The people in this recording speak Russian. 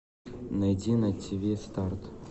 найди на тв старт